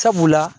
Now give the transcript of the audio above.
Sabula